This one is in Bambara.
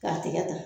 K'a tigɛ ta